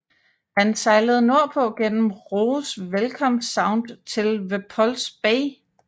Han sejlede nordpå gennem Roes Welcome Sound til Repulse Bay